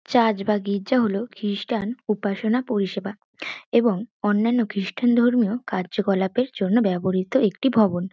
Church বা গির্জা হল খ্রিষ্টান উপাসনা পরিষেবা। এবং অন্যান্য খ্রিস্টান ধর্মীয় কার্যকলাপের জন্য ব্যবহৃত একটি ভবন।